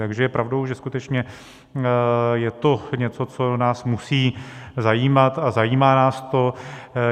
Takže je pravdou, že skutečně je to něco, co nás musí zajímat, a zajímá nás to.